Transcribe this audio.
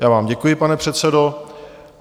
Já vám děkuji, pane předsedo.